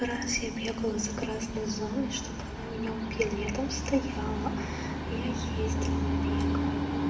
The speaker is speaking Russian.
раз я бегала за красной зоной чтобы она меня убила я там стояла я ездила бегала